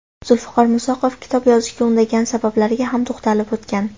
Zulfiqor Musoqov kitob yozishga undagan sabablarga ham to‘xtalib o‘tgan.